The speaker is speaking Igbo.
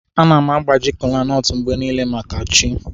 Ana m agbaji kolanut mgbe niile maka chi.